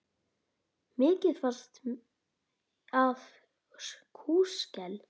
Mikið fannst af kúskel.